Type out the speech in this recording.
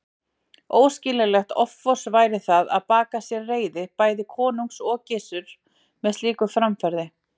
Óskiljanlegt offors væri það að baka sér reiði bæði konungs og Gizurar með slíku framferði.